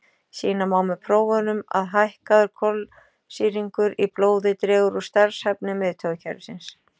Sýna má með prófunum að hækkaður kolsýringur í blóði dregur úr starfshæfni miðtaugakerfisins.